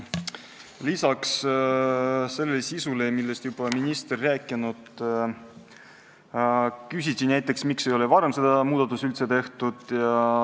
Lisaks sellele, millest minister on juba rääkinud, küsiti näiteks, miks ei ole seda muudatust varem tehtud.